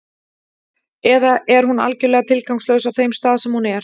Eða er hún algjörlega tilgangslaus á þeim stað sem hún er?